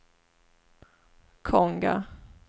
Konga